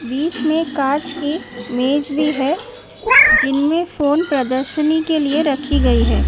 बीच में काँच की मेज भी है। जिनमे फोन प्रदर्शनी के लिए रखी गई है।